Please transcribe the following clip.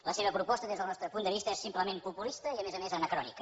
la seva proposta des del nostre punt de vista és simplement populista i a més a més anacrònica